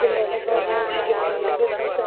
झेडा लगा हुआ है बाहर के साथ जगाह--